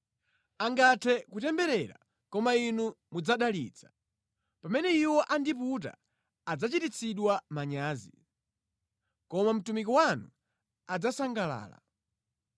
Angathe kutemberera, koma Inu mudzadalitsa; pamene iwo andiputa adzachititsidwa manyazi, koma mtumiki wanu adzasangalala.